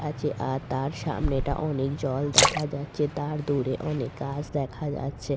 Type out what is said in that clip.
আছে আর তার সামনেটা অনেক জল দেখা যাচ্ছে তার দূরে অনেক গাছ দেখা যাচ্ছে।